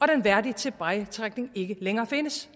den værdige tilbagetrækning ikke længere findes